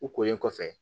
U kolen kɔfɛ